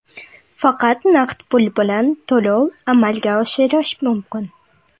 Faqat naqd pul bilan to‘lov amalga oshirish mumkin.